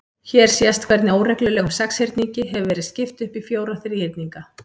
Hér sést hvernig óreglulegum sexhyrningi hefur verið skipt upp í fjóra þríhyrninga.